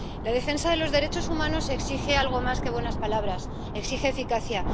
La defensa de los derechos humanos exige algo más que buenas palabras, exige eficacia.